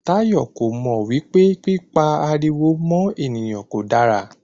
Táyọ̀ kò mò wípé pípa ariwo mọ́ ènìyàn kò dára.